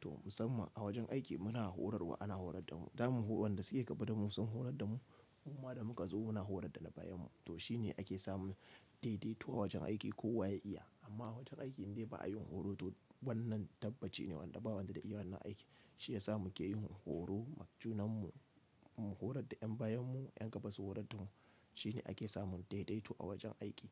To musamman a wajen aiki muna horarwa ana horar da mu, daman wanda suke gaba damu sun horar da mu muma da muka zo muna horar da na bayan mu. To shine ake samun daidaito a wajen aiki kowa ya iya amma a wajen aikin dai ba a yin horo to wannan tabbaci ne wanda ba wanda zai iya wannan aiki. Shi yasa muke yin horo, ma junan mu mun horar da yan bayan mu, yan gaba su horar da mu. Shi ne ake samun daidaito a wajen aiki.